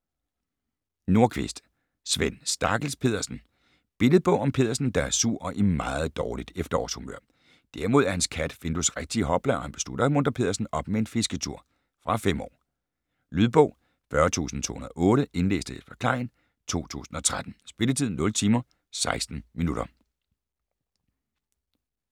Nordqvist, Sven: Stakkels Peddersen Billedbog om Peddersen, der er sur og i meget dårligt efterårshumør. Derimod er hans kat Findus rigtigt i hopla, og han beslutter at muntre Peddersen op med en fisketur. Fra 5 år. Lydbog 40208 Indlæst af Jesper Klein, 2013. Spilletid: 0 timer, 16 minutter.